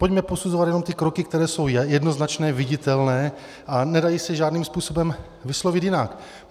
Pojďme posuzovat jenom ty kroky, které jsou jednoznačné, viditelné a nedají se žádným způsobem vyslovit jinak.